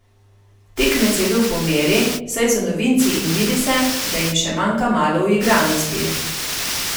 Tekmec je bil po meri, saj so novinci in vidi se, da jim še manjka malo uigranosti.